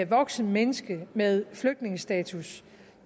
voksent menneske med flygtningestatus